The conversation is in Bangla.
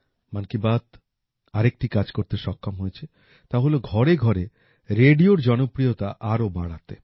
মন কী বাত আরেকটি কাজ করতে সক্ষম হয়েছে তা হল ঘরেঘরে রেডিওর জনপ্রিয়তা আরও বাড়াতে